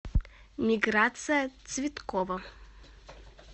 миграция цветкова